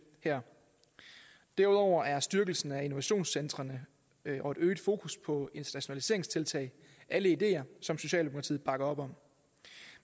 her derudover er styrkelsen af innovationcentrene og et øget fokus på internationaliseringstiltag ideer som socialdemokratiet bakker op om